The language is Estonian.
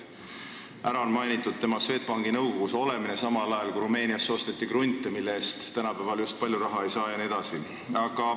Ära on mainitud tema Swedbanki nõukogus olemine, samal ajal kui Rumeeniasse osteti krunte, mille eest tänapäeval just palju raha ei saa, jne.